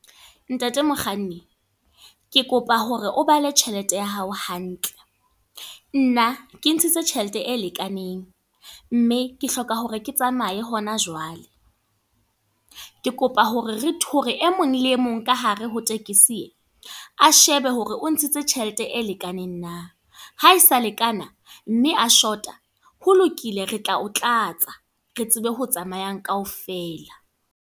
Ntate Mokganni, ke kopa hore o bale tjhelete ya hao hantle. Nna, ke ntshitse tjhelete e lekaneng. Mme, ke hloka hore ke tsamaye hona jwale. Ke kopa hore re hore e mong le e mong ka hare ho tekesi e. A shebe hore o ntshitse tjhelete e lekaneng na, ha e sa lekana, mme a short-a ho lokile. Re tla o tlatsa, re tsebe ho tsamayang kaofela.